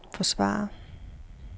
forsvare